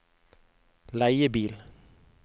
leiebil